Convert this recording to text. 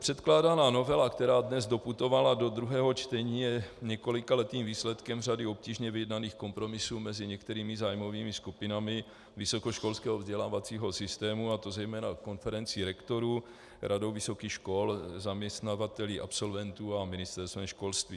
Předkládaná novela, která dnes doputovala do druhého čtení, je několikaletým výsledkem řady obtížně vyjednaných kompromisů mezi některými zájmovými skupinami vysokoškolského vzdělávacího systému, a to zejména konferencí rektorů, radou vysokých škol, zaměstnavateli absolventů a Ministerstvem školství.